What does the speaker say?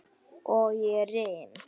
Og ég rym.